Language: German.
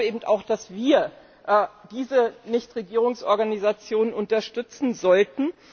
Ich glaube eben auch, dass wir diese Nichtregierungsorganisation unterstützen sollten.